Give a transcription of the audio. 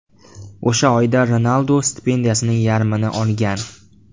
O‘sha oyda Ronaldu stipendiyasining yarmini olgan.